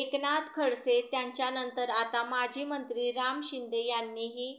एकनाथ खडसे यांच्यानंतर आता माजी मंत्री राम शिंदे यांनीही